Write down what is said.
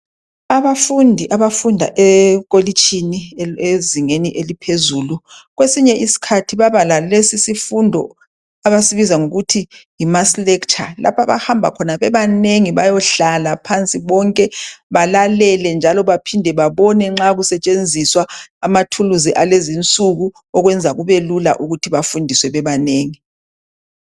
Abafundi abafunda ekolitshini ezingeni eliphezulu, kwesinye isikhathi baba lalesisifundo, abasibiza ngokuthi yimass lecture. Lapha abahamba khona bebanengi! Bayohlala phansi bonke, balalele., njalo baphinde babone nxa kusetshenziswa amathuluzi alezi insuku. Okwenza kubelula ukuthi bafundiswe, bebanengi.